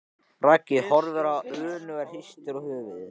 Raggi horfir á hann önugur og hristir höfuðið.